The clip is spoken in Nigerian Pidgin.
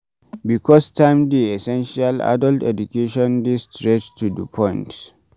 Because time dey essential adult education dey straight to do point